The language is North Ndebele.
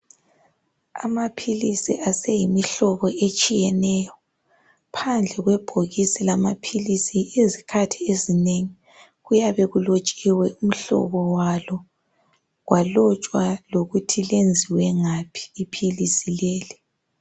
Amaphilisi aseyimihlobo etshiyeneyo. Phandle kwebhokisi lamaphilisi izikhathi ezinengi kuyabe kulotshiwe imhlobo walo kwalotshwa lokuthi lenziwe ngaphi iphilisi leli.